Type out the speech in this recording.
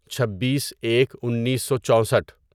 چھبیس ایک انیسو چوسٹھ